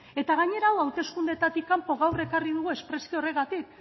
eta gainera hau hauteskundetatik kanpo gaur ekarri dugu espresuki horregatik